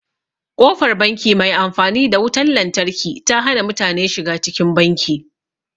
Ƙofar banki mai amfani da wutan lantarki ta hana mutane shiga cikin banki.